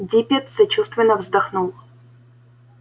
диппет сочувственно вздохнул